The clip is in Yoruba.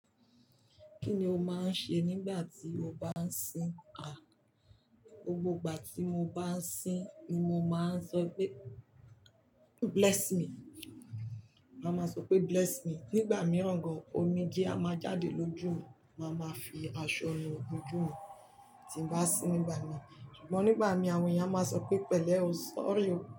Kí ni o máa ń ṣe nígbà tí o bá ń sín? Gbogbo ìgbà tí mo bá ń sín ni mo máa ń sọ wípé "Bless me." Màá máa sọ pé "Bless me." Nígbà mìíràn gan-an omijé á máa jáde lójú mi, màá máa fi aṣọ nu ojú mi tí n bá sín nígbà míì. Ṣùgbọ́n nígbà míì àwọn èèyàn á máa sọ pé pẹ̀lẹ́ o, sorry o.